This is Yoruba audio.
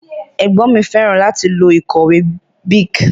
Ègbón mi féràn láti lo ìkòwé Bic